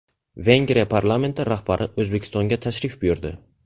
Vengriya parlamenti rahbari O‘zbekistonga tashrif buyurdi.